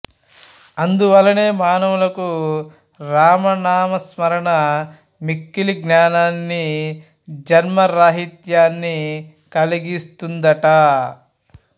అందువల్లనే మానవులకు రామనామ స్మరణ మిక్కిలి జ్ఞానాన్ని జన్మరాహిత్యాన్ని కలిగిస్తుందట